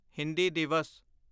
Hindi Divas